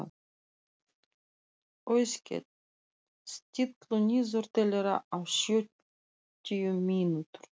Auðkell, stilltu niðurteljara á sjötíu mínútur.